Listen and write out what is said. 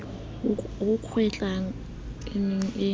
ho kgwehlang e ne e